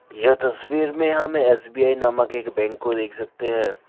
ये तस्वीर में हम एस_बी_आई नामक एक बैंक को देख सकते है।